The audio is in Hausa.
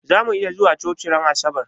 Zamu iya zuwa coci ran asabar?